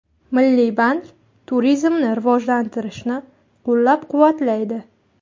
Milliy bank turizmni rivojlantirishni qo‘llab-quvvatlaydi.